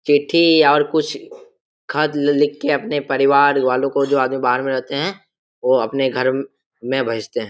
चिट्टी और और कुछ खत लिखकर अपने परिवार वालो को जो आदमी बाहार में रहते है वो अपने घर में भेजते है|